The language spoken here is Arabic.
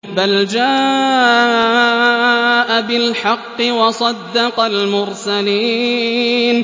بَلْ جَاءَ بِالْحَقِّ وَصَدَّقَ الْمُرْسَلِينَ